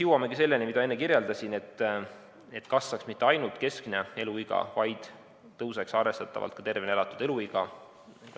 Jõuamegi selleni, mida ma enne kirjeldasin, et kasvaks mitte ainult keskmine eluiga, vaid pikeneks arvestatavalt ka tervena elatud eluiga.